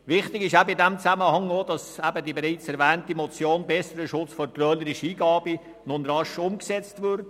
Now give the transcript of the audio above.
Wichtig ist in diesem Zusammenhang auch, dass die bereits erwähnte Motion «Besserer Schutz vor trölerischen Eingaben» nun rasch umgesetzt wird.